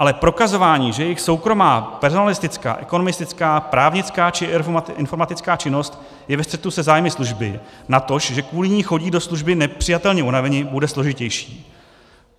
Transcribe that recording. Ale prokazování, že jejich soukromá personalistická, ekonomistická, právnická či informatická činnost je ve střetu se zájmy služby, natož že kvůli ní chodí do služby nepřijatelně unaveni, bude složitější.